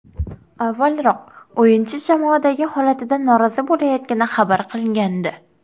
Avvalroq o‘yinchi jamoadagi holatidan norozi bo‘layotgani xabar qilingandi.